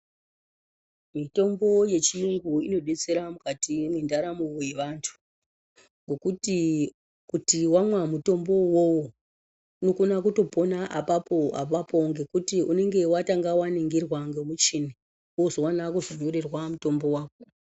Mitombo yechiyungu inodetsera mukati mendaramo yevantu ngekuti kuti wamwa mutombo iwowo unokona kutopona apapo apapo ngekuti unenge watanga waningirwa nemuchini wozoona kunyorerwa mutombo wako.